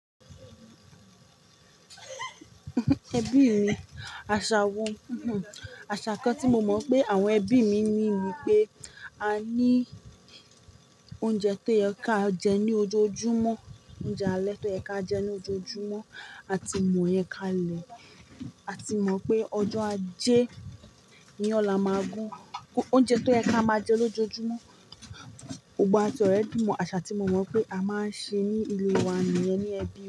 Ẹbí mi, àṣà wo, àṣà kan tí mo mọ̀ pé àwọn ẹbí mi ní ni pé a ní oúnjẹ tó yẹ kí a jẹ ní ojoojúmọ́, oúnjẹ alẹ́ tó yẹ kí á jẹ ní ojoojúmọ́, àti mo yẹ ká lẹ̀. A ti mọ̀ pé ọjọ́ ajé iyan la máa gún. Oúnjẹ tó yẹ kí a máa jẹ lójoojúmọ́. Gbogbo wa ti already mo àṣà tí mo mọ̀ pé a máa ń ṣe ní ile wa nìyẹn ní ẹbí.